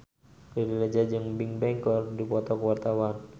Riri Reza jeung Bigbang keur dipoto ku wartawan